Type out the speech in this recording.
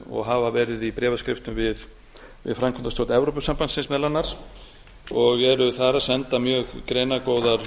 og hafa verið í bréfaskriftum við framkvæmdastjórn evrópusambandsins meðal annars og eru þar að senda mjög greinargóðar